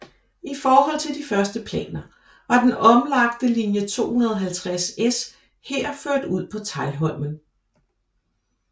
I forhold til de første planer var den omlagte linje 250S her ført ud på Teglholmen